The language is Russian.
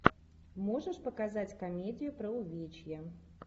можешь показать комедию про увечья